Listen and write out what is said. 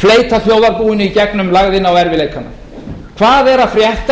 fleyta þjóðarbúinu í gegnum lægðina og erfiðleikana hvað er að frétta